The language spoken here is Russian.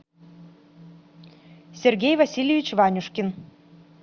сергей васильевич ванюшкин